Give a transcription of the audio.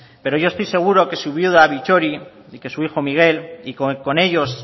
pero yo estoy seguro que su viuda bittori y que su hijo miguel y con ellos